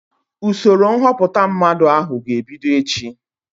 Usoro nhọpụta mmadụ ahụ ga-ebido echi